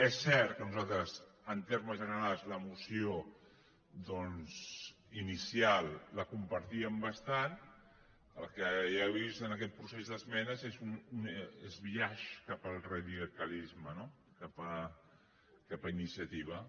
és cert que nosaltres en termes generals la moció ini·cial la compartíem bastant el que ja he vist en aquest procés d’esmenes és un biaix cap al radicalisme no cap a iniciativa